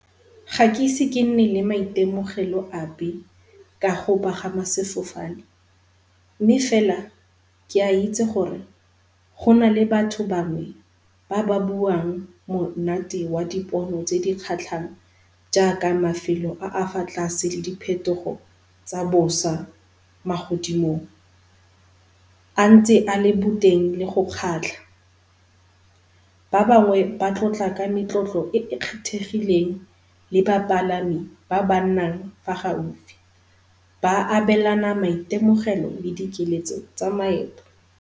Gakeisi ke nne le maitemogelo ape kago pagama sefofane, mme fela ke a itse gore gona le batho bangwe ba ba buang monate wa dipono tse di kgatlhang jaaka mafelo a a fa tlase le diphetogo tsa bosa magodimong. A ntse a le boteng le go kgatlha. Ba bangwe ba tlotla ka metlotlo e e kgethegileng le bapalami ba ba nnang mo gaufi, ba abelana maitemogelo le di keletso tsa maeto.